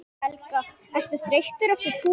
Helga: Ertu þreyttur eftir túrinn?